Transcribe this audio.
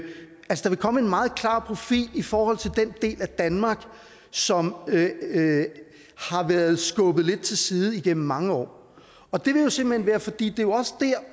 komme en meget klar profil i forhold til den del af danmark som har været skubbet lidt til side igennem mange år og det vil jo simpelt hen være fordi det også